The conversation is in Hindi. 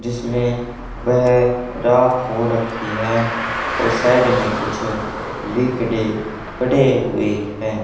जिसमें वह राख हो रखी हैं और साइड में कुछ लिक डे पड़े हुए हैं।